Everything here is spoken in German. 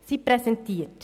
Zweitens Präsentieren;